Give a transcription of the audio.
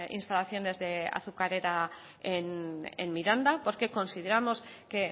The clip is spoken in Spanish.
instalaciones de azucarera en miranda porque consideramos que